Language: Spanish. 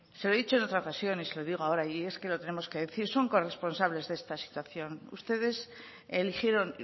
se lo he dicho en otra ocasión y se lo digo ahora y es que lo tenemos que decir son corresponsables de esta situación ustedes eligieron